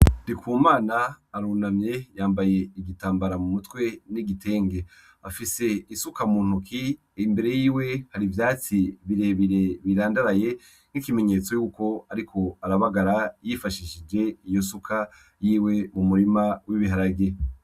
Ndikumana arunamye yambaye igitambara mu mutwe n'igitenge, afise isuka mu ntoke imbere yiwe hari ivyatsi birebire birandaraye nk'ikimenyetso yuko ariko arabagara yifashishije iyo suka yiwe mu murima w'ibiharage.